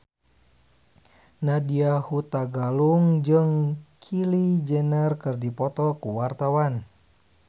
Nadya Hutagalung jeung Kylie Jenner keur dipoto ku wartawan